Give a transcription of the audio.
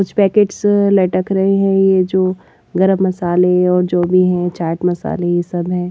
कुछ पैकेट्स लटक रहे हैं यह जो गरम मसाले और जो भी हैं चाट मसाले ये सबहै।